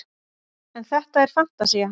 en þetta er fantasía